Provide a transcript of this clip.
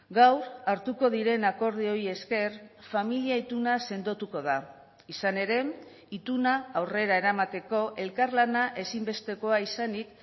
gaur hartuko diren akordioei esker familia ituna sendotuko da izan ere ituna aurrera eramateko elkarlana ezinbestekoa izanik